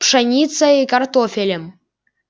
пшеницей и картофелем